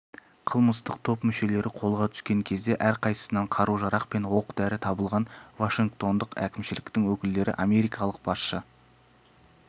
қылмыстық топ мүшелері қолға түскен кезде әрқайсысынан қару-жарақ пен оқ-дәрі табылған вашингтондық әкімшіліктің өкілдері америкалық басшы